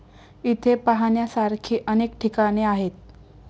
इथे पाहण्यासारखी अनेक ठिकाणे आहेत.